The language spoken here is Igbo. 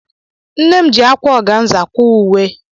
Nne m ji ákwá ọganza kwaa uwe.